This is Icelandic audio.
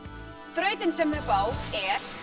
þrautin sem þau fá er